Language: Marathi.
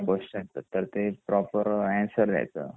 त्या क्वेस्चन च ते प्रॉपर आन्सर द्यायच